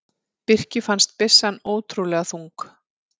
Birki fannst byssan ótrúlega þung.